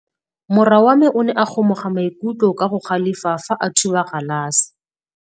Morwa wa me o ne a kgomoga maikutlo ka go galefa fa a thuba galase.